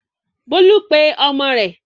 Bólú pe ọmọ rẹ̀?